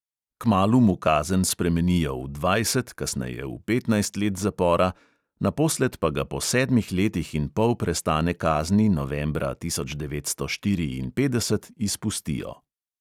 Kmalu mu kazen spremenijo v dvajset, kasneje v petnajst let zapora, naposled pa ga po sedmih letih in pol prestane kazni novembra tisoč devetsto štiriinpetdeset izpustijo.